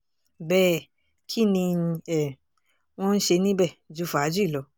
bẹ́ẹ̀ kín ni um wọ́n ń ṣe níbẹ̀ ju fàájì lọ